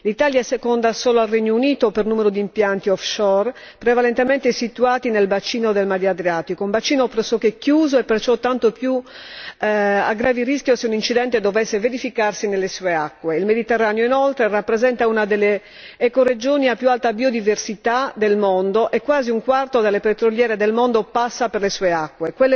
L'Italia è seconda solo al Regno Unito per numero di impianti offshore prevalentemente situati nel bacino del Mare Adriatico, un bacino pressoché chiuso e perciò tanto più a grave rischio se un incidente dovesse verificarsi nelle sue acque. Il Mediterraneo inoltre rappresenta una delle ecoregioni a più alta biodiversità del mondo e quasi un quarto delle petroliere del mondo passa per le sue acque.